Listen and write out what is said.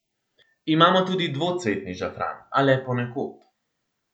Imamo tudi dvocvetni žafran, a le ponekod.